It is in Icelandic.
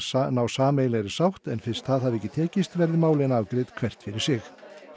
sameiginlegri sátt en fyrst það hafi ekki tekist verði málin afgreidd hvert fyrir sig